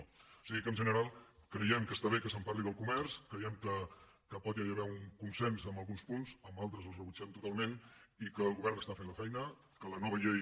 o sigui que en general creiem que està bé que se’n parli del comerç creiem que pot haver hi un consens en alguns punts altres els rebutgem totalment i que el govern està fent la feina que la nova llei